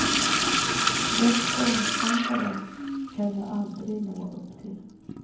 Den sångstandarden kan jag aldrig nå upp till.